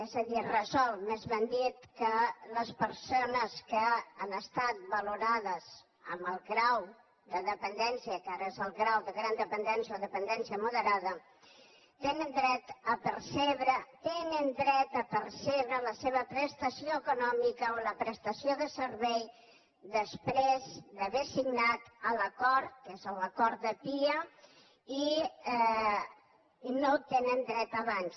és a dir resol més ben dit que les persones que han estat valorades amb el grau de dependència que ara és el grau de gran dependència o dependència moderada tenen dret a percebre la seva prestació econòmica o la prestació de servei després d’haver signat l’acord que és l’acord de pia i no hi tenen dret abans